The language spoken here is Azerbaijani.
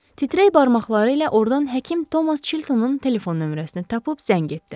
Titreyən barmaqları ilə ordan həkim Tomas Çiltonun telefon nömrəsini tapıb zəng etdi.